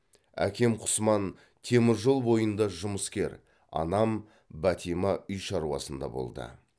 әкем құсман темір жол бойында жұмыскер анам бәтима үй шаруасында болды